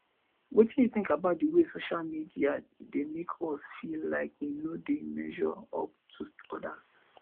wetin you think about di way social media dey make us feel like we no dey measure up to odas